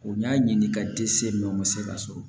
U y'a ɲini ka dɛsɛ mɛ u ma se ka sɔrɔ